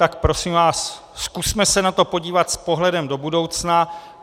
Tak prosím vás, zkusme se na to podívat s pohledem do budoucna.